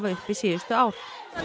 uppi síðustu ár